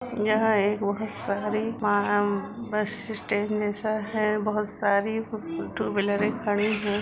यहाँ एक बहोत सारी बस स्टैंड जैसा है बहोत सारी टू व्हिलरें खड़ीं हैं ।